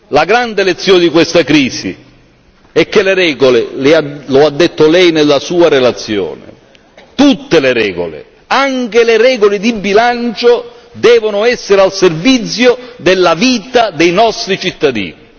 La grande lezione di questa crisi è che le regole lo ha detto Lei nella Sua relazione tutte le regole, anche le regole di bilancio, devono essere al servizio della vita dei nostri cittadini.